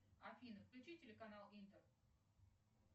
афина включи телеканал интер